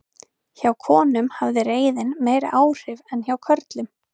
hjá konum hafði reiðin meiri áhrif en hjá körlum